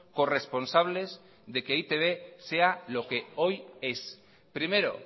corresponsables de que e i te be sea lo que hoy es primero